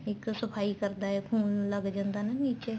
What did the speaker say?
ਇੱਕ ਸਫਾਈ ਕਰਦਾ ਏ ਖੂਨ ਲੱਗ ਜਾਂਦਾ ਏ ਨੀਚੇ